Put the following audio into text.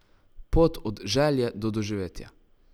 Pot od želje do doživetja.